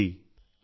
ങാ